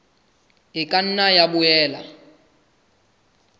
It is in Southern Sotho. e ka nna ya boela